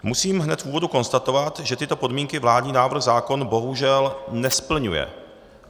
Musím hned v úvodu konstatovat, že tyto podmínky vládní návrh zákona bohužel nesplňuje.